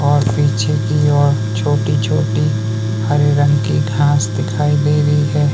और पीछे की ओर छोटी छोटी हरे रंग की घास दिखाई दे रही हैं।